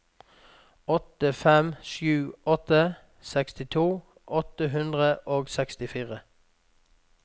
åtte fem sju åtte sekstito åtte hundre og sekstifire